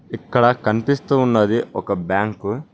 ఇక్కడ కనిపిస్తూ ఉన్నది ఒక బ్యాంకు .